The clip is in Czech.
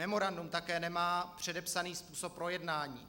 Memorandum také nemá předepsaný způsob projednání.